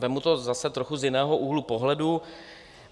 Vezmu to zase trochu z jiného úhlu pohledu.